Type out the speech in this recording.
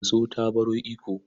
Daso ta baro Ikko.